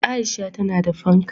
Aisha tana da fanka